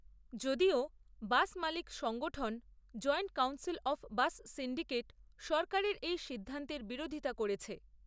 যদিও বাস মালিক সংগঠন joint council of bus syndicate সরকারের এই সিদ্ধান্তের বিরোধিতা করেছে।